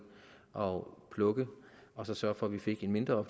og plukke og så sørge for at vi fik en mindre